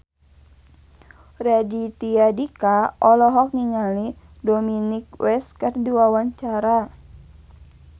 Raditya Dika olohok ningali Dominic West keur diwawancara